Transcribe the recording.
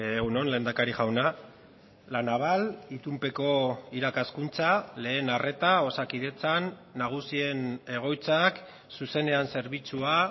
egun on lehendakari jauna la naval itunpeko irakaskuntza lehen arreta osakidetzan nagusien egoitzak zuzenean zerbitzua